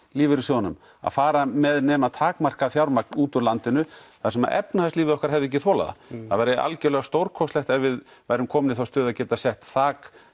lífeyrissjóðunum að fara með nema takmarkað fjármagn útúr landinu þar sem efnahagslífið okkar hefði ekki þolað það það væri algerlega stórkostlegt ef við værum komin í þá stöðu að geta sett þak